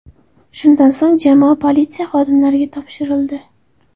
Shundan so‘ng jamoa politsiya xodimlariga topshirildi.